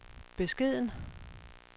beskeden